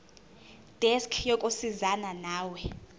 desk yokusizana nawe